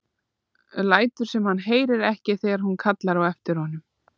Lætur sem hann heyri ekki þegar hún kallar á eftir honum.